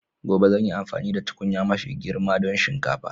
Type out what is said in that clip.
Gobe zan yi amfani da tukunya mafi girma don shinkafa.